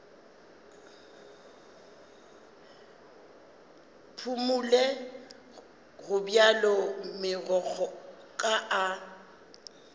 phumole gobjalo megokgo ka a